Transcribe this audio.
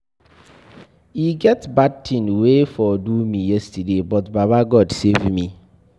E get bad thing wey for do me yesterday but baba God save me.